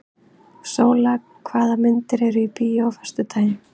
Sóla, hvaða myndir eru í bíó á föstudaginn?